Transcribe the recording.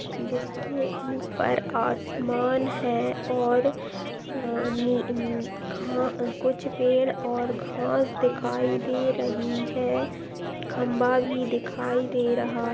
जिसके ऊपर आसमान है और अ नी घा कुछ पेड़ और घास दिखाई दे रही हैं खम्बा भी दिखाई दे रहा है।